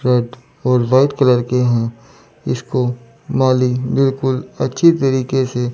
red और white colour के है इसको माली बिलकुल अच्छी तरीके से--